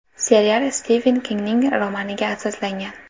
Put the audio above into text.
Serial Stiven Kingning romaniga asoslangan.